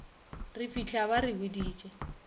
re fitlha ba re boditše